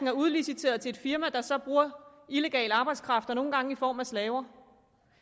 er udliciteret til et firma der så bruger illegal arbejdskraft og nogle gange i form af slaver